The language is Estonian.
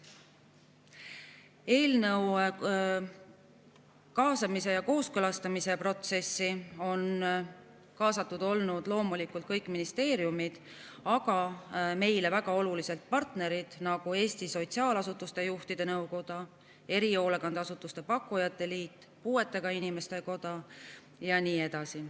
Eelnõu kaasamise ja kooskõlastamise protsessi on kaasatud olnud loomulikult kõik ministeeriumid, aga meile ka väga olulised partnerid, nagu Eesti Sotsiaalasutuste Juhtide Nõukoda, Erihoolekandeteenuste Pakkujate Liit, Puuetega Inimeste Koda ja nii edasi.